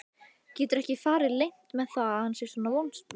Getur ekki farið leynt með að hann er vonsvikinn.